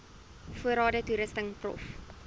voorrade toerusting prof